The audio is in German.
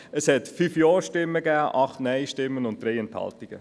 Es gab 5 Ja-, 8 Nein-Stimmen und 3 Enthaltungen.